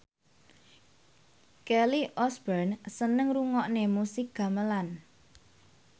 Kelly Osbourne seneng ngrungokne musik gamelan